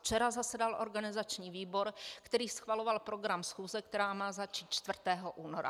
Včera zasedal organizační výbor, který schvaloval program schůze, která má začít 4. února.